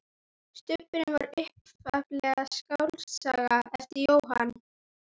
Stubburinn var upphaflega skáldsaga eftir Jóhann